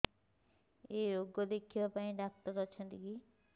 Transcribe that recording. ଏଇ ରୋଗ ଦେଖିବା ପାଇଁ ଡ଼ାକ୍ତର ଅଛନ୍ତି କି